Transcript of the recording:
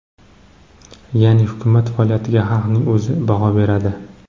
Ya’ni, hukumat faoliyatiga xalqning o‘zi baho beradi.